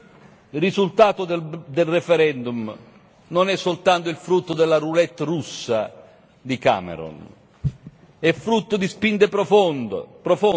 Il risultato del referendum non è soltanto il frutto della roulette russa di Cameron, è frutto di spinte profonde.